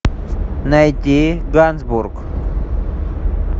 найди гансбург